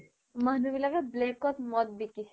মানুহবিলাকে black ত মদ বিকিছে